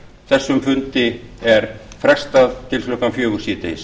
þessum fundi er nú frestað til klukkan fjögur síðdegis